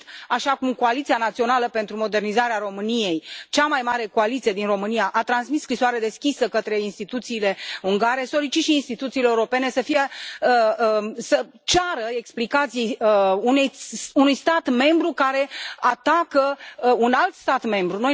Așa cum Coaliția Națională pentru Modernizarea României, cea mai mare coaliție din România, a transmis o scrisoare deschisă către instituțiile ungare, solicit și instituțiilor europene să ceară explicații unui stat membru care atacă un alt stat membru.